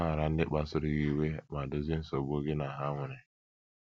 Gbaghara ndị kpasuru gị iwe, ma dozie nsogbu gị na ha nwere.